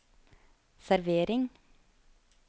servering